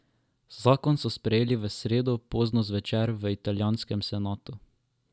Zakon so sprejeli v sredo pozno zvečer v italijanskem senatu.